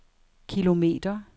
kilometer